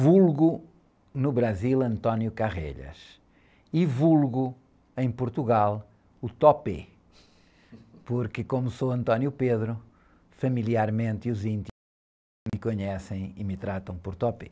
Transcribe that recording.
Vulgo no Brasil e vulgo em Portugal o, porque como sou, familiarmente, os íntimos, me conhecem e me tratam por.